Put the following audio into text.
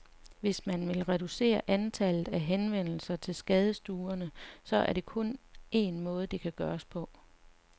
Hvis man vil reducere antallet af henvendelser til skadestuerne, så er der kun en måde, det kan gøres på.